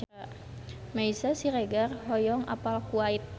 Meisya Siregar hoyong apal Kuwait